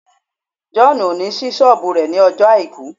John will not open his shop on Sunday